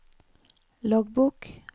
loggbok